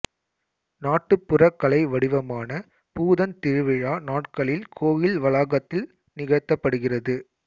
நாட்டுப்புற கலை வடிவமான பூதன் திருவிழா நாட்களில் கோயில் வளாகத்தில் நிகழ்த்தபடுகிறது